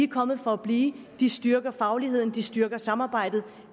kommet for at blive de styrker fagligheden de styrker samarbejdet